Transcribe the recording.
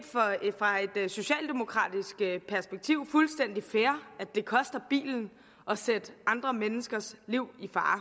fra et socialdemokratisk perspektiv fuldstændig fair at det koster bilen at sætte andre menneskers liv i fare